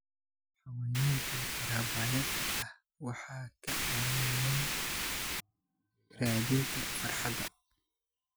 Xayawaanka rabaayada ah waxay caawiyaan raadinta farxadda.